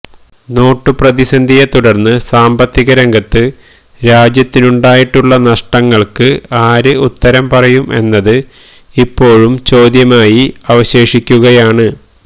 not പ്രതിസന്ധിയെ തുടര്ന്ന് സാമ്പത്തികരംഗത്ത് രാജ്യത്തിനുണ്ടായിട്ടുള്ള നഷ്ടങ്ങള്ക്ക് ആര് ഉത്തരം പറയും എന്നത് ഇപ്പോഴും ചോദ്യമായി അവശേഷിക്കുകയാണ്